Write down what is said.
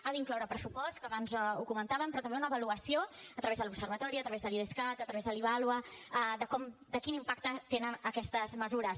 ha d’incloure pressupost que abans ho comentàvem però també una avaluació a través de l’observatori a través de l’idescat a través de l’ivàlua de quin impacte tenen aquestes mesures